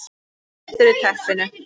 BLETTUR Í TEPPINU